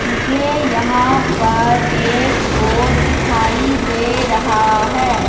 मुझे यहां पर एक बोर्ड दिखाई दे रहा है।